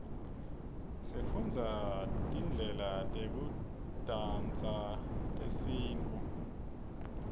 sifundza tmydlela teku dansase tesintfu